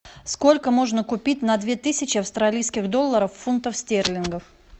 сколько можно купить на две тысячи австралийских долларов фунтов стерлингов